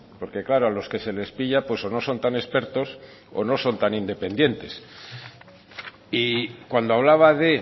porque claro a los que se les pilla pues o no son tan expertos o no son tan independientes y cuando hablaba de